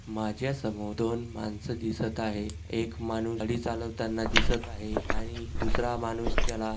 माझ्या समोर दोन माणस दिसत आहे एक माणूस गाडी चालवताना दिसत आहे आणि दूसरा माणूस त्याला--